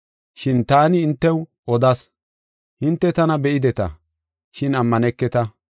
Shin taani hintew odas; hinte tana be7ideta, shin ammaneketa.